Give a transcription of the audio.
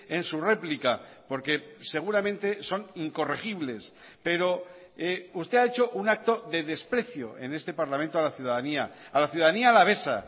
en su réplica porque seguramente son incorregibles pero usted ha hecho un acto de desprecio en este parlamento a la ciudadanía a la ciudadanía alavesa